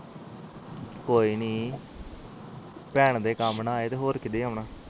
ਕੋਇਨੀ ਭੈਣ ਦੇ ਕਾਮ ਨਾ ਆਏ ਹੋਰ ਕੀੜੇ ਆਉਣਾ